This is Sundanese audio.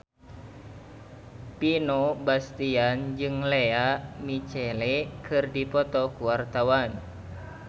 Vino Bastian jeung Lea Michele keur dipoto ku wartawan